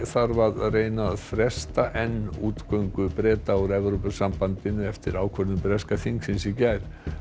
þarf að reyna að fresta enn úrgöngu Breta úr Evrópusambandinu eftir ákvörðun breska þingsins í gær